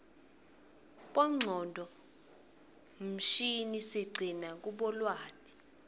bongcondvo mshini siqcina kubo lwati